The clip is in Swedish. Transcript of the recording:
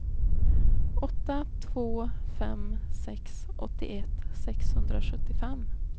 åtta två fem sex åttioett sexhundrasjuttiofem